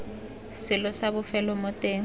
selo sa bofelo mo teng